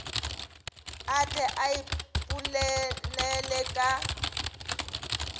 a tle a iponele ka